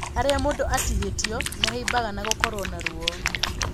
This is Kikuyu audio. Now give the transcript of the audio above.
Harĩa mũndũ atihĩtio nĩ haimbaga na gũkorwo na ruo.